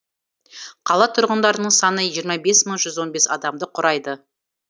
қала тұрғындарының саны жиырма бес мың жүз он бес адамды құрайды